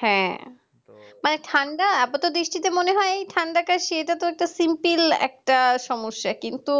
হ্যাঁ মানে ঠান্ডা আপাতত দৃষ্টিতে মনে হয় ঠান্ডাতে সেইটা তো simple একটা সমস্যা কিন্তু